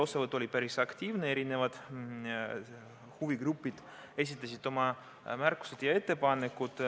Osavõtt oli päris aktiivne, huvigrupid esitasid oma märkusi ja ettepanekuid.